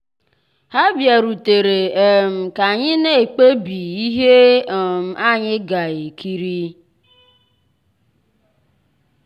há bìàrùtérè um ká ànyị́ ná-èkpébí íhé um ànyị́ gà-èkírí.